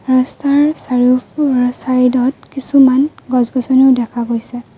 ৰাস্তাৰ চাৰিও ফ চাইদ ত কিছুমান গছ-গছনিও দেখা গৈছে।